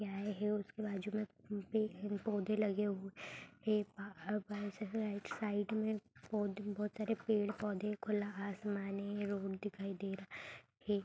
उसके बाजू में पेड़ पौधे लगे हुए साइड में बहुत सारे पेड़ पौधे खुला आसमान है रोड दिखाई दे रहा है। एक --